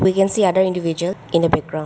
we can see other individual in a backgrou--